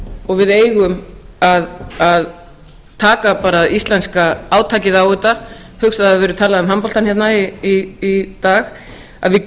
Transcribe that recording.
og við eigum að taka bara íslenska átakið á þetta ég hugsa að það hafi verið talað um handboltann hérna í dag að við